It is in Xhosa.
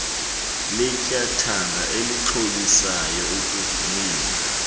letyathanga elixhobisayo ukuvumela